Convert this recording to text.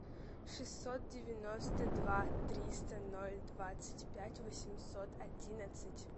шестьсот девяносто два триста ноль двадцать пять восемьсот одиннадцать